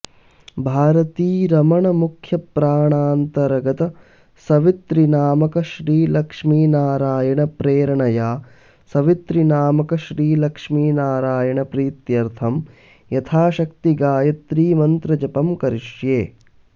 भारतीरमण मुख्यप्राणान्तर्गत सवितृनामक श्री लक्ष्मी नारायण प्रेरणया सवितृनामक श्री लक्ष्मीनारायण प्रीत्यर्थं यथाशक्ति गायत्रीमन्त्रजपं करिष्ये